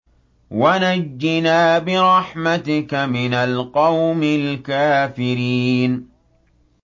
وَنَجِّنَا بِرَحْمَتِكَ مِنَ الْقَوْمِ الْكَافِرِينَ